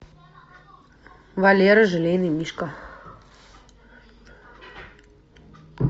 валера желейный мишка